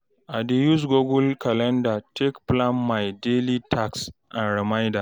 I dey use Google calender take plan my daily task and reminder